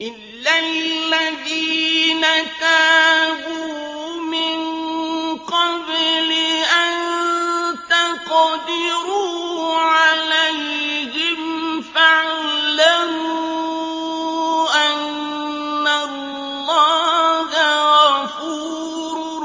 إِلَّا الَّذِينَ تَابُوا مِن قَبْلِ أَن تَقْدِرُوا عَلَيْهِمْ ۖ فَاعْلَمُوا أَنَّ اللَّهَ غَفُورٌ